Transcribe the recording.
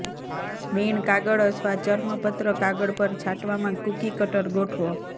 મીણ કાગળ અથવા ચર્મપત્ર કાગળ પર છાંટવામાં કૂકી કટર ગોઠવો